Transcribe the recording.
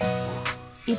í